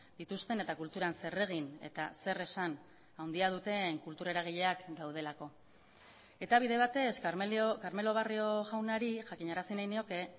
dituzten eta kulturan zer egin eta zer esan handia duten kultura eragileak daudelako eta bide batez carmelo barrio jaunari jakinarazi nahi nioke